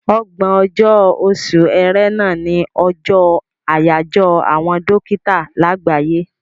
Ọgbọ̀n ọjọ́, oṣù Ẹrẹ́nà, ní ọjọ́ àyájọ́ àwọn dókítà láàgbáyé.